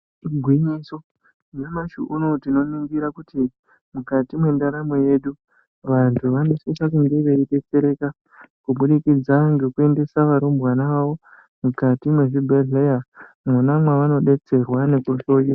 Igwinyiso ,nyamashi unowu tinongira kuti mukati mwendaramo yedu, vantu vanosise kunge veidetsereka kubudikidza ngekuendesa varumbwana vavo mukati mwezvibhedhleya mwona mwavanodetserwa nekuhloyiwa.